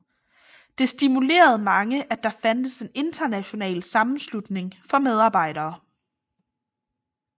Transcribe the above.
Det stimulerede mange at der fandtes en international sammenslutning for arbejdere